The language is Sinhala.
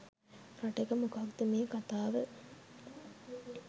රටක මොකක්ද මේ කතාව.